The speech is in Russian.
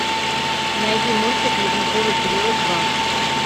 найди мультик ледниковый период два